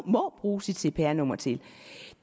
må bruge sit cpr nummer til